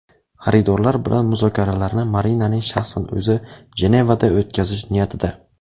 Xaridorlar bilan muzokaralarni Marinaning shaxsan o‘zi Jenevada o‘tkazish niyatida.